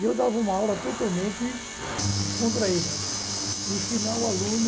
E eu dava uma aula totalmente descontraída, ensinava o aluno